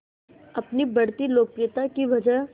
अपनी बढ़ती लोकप्रियता की वजह